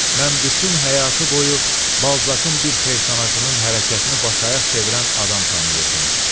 Mən bütün həyatı boyu Balzakın bir personajının hərəkətini baş ayaq çevirən adam tanıyırdım.